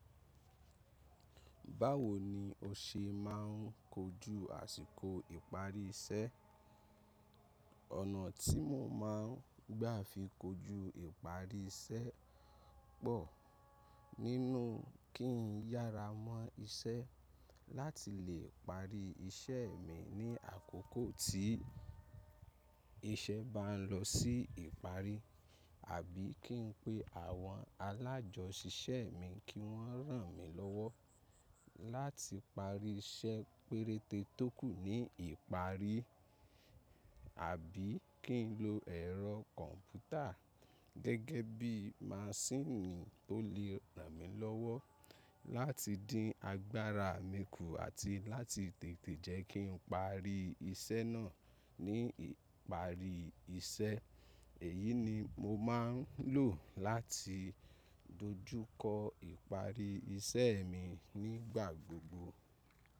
Báwo ni o ṣe máà ń kojú àsìkò ìparí iṣẹ́? Ọ̀nà tí mo máa ń gbà fi kojú ìparí iṣẹ́ pọ̀ nínú kí n yára mọ́ iṣẹ́ láti lè parí iṣẹ́ mi ní àkókò tí iṣẹ́ bá ń lọ sí ìparí, àbí kí n pe àwọn alájọṣìṣẹ́ mi kí wọ́n ràn mí lọ́wọ́ láti parí iṣẹ́ péréte tó kù ní ìparí, àbí kí n lo ẹ̀rọ kọ̀ǹpútà gẹ́gẹ́ bí maṣíìnì tó lè ràn mí lọ́wọ́ láti dín agbára mi kù àti láti tètè jẹ́ kí n parí iṣẹ́ náà ní ìparí iṣẹ́. Èyí ni mo máa ń lò láti dojú kọ ìparí iṣẹ́ mi nígbà gbogbo.